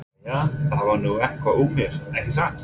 Jæja, það varð nú eitthvað úr mér, ekki satt?